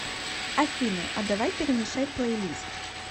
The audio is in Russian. афина а давай перемешай плей лист